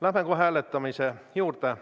Läheme kohe hääletamise juurde.